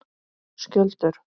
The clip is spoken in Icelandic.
Skjöldur